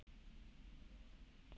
Borða hollan mat.